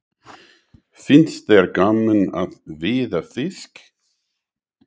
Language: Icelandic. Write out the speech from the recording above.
Finnst þér gaman að veiða fisk?